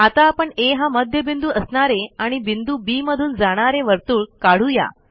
आता आपण आ हा मध्यबिंदू असणारे आणि बिंदू बी मधून जाणारे वर्तुळ काढू या